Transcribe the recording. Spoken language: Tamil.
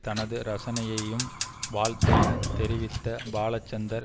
தனது ரசனையையும் வாழ்த்தையும் தெரிவித்த பால சந்தர்